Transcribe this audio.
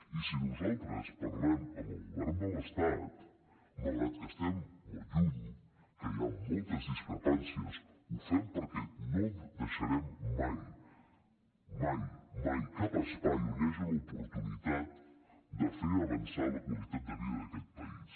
i si nosaltres parlem amb el govern de l’estat malgrat que estem molt lluny que hi ha moltes discrepàncies ho fem perquè no deixarem mai mai mai cap espai on hi hagi una oportunitat de fer avançar la qualitat de vida d’aquest país